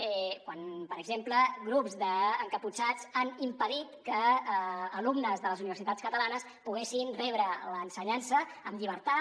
quan per exemple grups d’encaputxats han impedit que alumnes de les universitats catalanes poguessin rebre l’ensenyança en llibertat